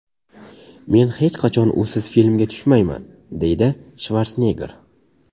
Men hech qachon usiz filmga tushmayman”, deydi Shvarsenegger.